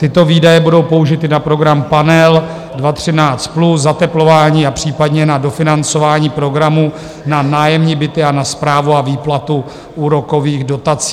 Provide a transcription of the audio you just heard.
Tyto výdaje budou použity na program Panel 2013+, zateplování a případně na dofinancování programů na nájemní byty a na správu a výplatu úrokových dotací.